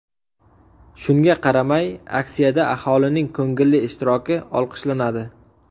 Shunga qaramay, aksiyada aholining ko‘ngilli ishtiroki olqishlanadi.